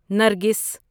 نرگس